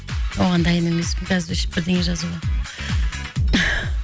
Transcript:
оған дайын емеспін қазір бірдеңе жазуға